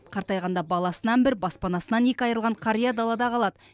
қартайғанда баласынан бір баспанасынан екі айырылған қария далада қалады